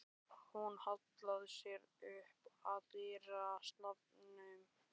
Hún hallaði sér upp að dyrastafnum.